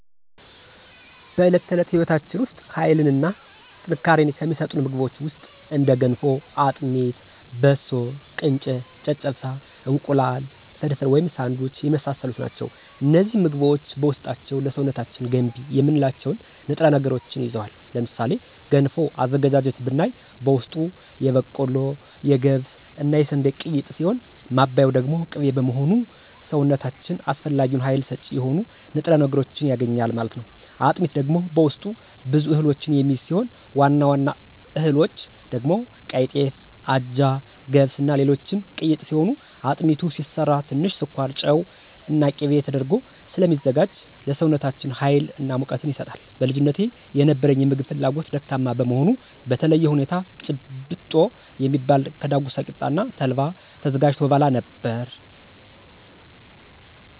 በዕለት ተዕለት ሕይወታችን ውስጥ ኃይልን እና ጥንካሬን ከሚሰጡን ምግቦች ውስጥ እንደ ገንፎ; አጥሚት; በሶ: ቅንጨ; ጨጨብሳ; እንቁላል ፍርፍር/ሳንዱች የመሳሰሉት ናቸው። እነዚህ ምግቦች በውስጣቸው ለሰውነታችን ገንቢ የምንላቸውን ንጥረ ነገሮችን ይዘዋል። ለምሳሌ ገንፎ አዘገጃጀት ብናይ በውስጡ የበቆሎ; የገብስ እና የስንዴ ቅይጥ ሲሆን ማባያው ደግሞ ቅቤ በመሆኑ ሰውነታችን አስፈላጊውን ሀይል ሰጭ የሆኑ ንጥረ ነገሮችን ያገኛል ማለት ነው። አጥሚት ደግሞ በውስጡ ብዙ እህሎችን የሚይዝ ሲሆን ዋና ዋና እህሎች ደግሞ ቀይጤፍ; አጃ; ገብስ; እና ሌሎችም ቅይጥ ሲሆን አጥሚቱ ሲሰራ ትንሽ ስኳር; ጨው እና ቂቤ ተደርጎ ስለሚዘጋጅ ለሰውነታችን ሀይል እና ሙቀትን ይሰጣል። በልጅነቴ የነበረኝ የምግብ ፍላጎት ደካማ በመሆኑ በተለየ ሁኔታ ጭብጦ የሚባል ከዳጉሳ ቂጣ እና ተልባ ተዘጋጅቶ እበላ ነበር።